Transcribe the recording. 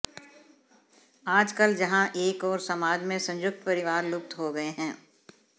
आज कल जहां एक ओर समाज में संयुक्त परिवार लुप्त हो गए हैं